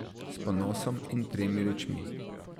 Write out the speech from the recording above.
S ponosom in temi rečmi.